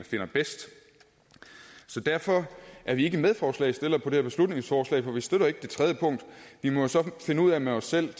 finder bedst så derfor er vi ikke medforslagsstillere på det her beslutningsforslag for vi støtter ikke det tredje punkt vi må så finde ud af med os selv